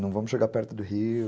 Não vamos chegar perto do rio.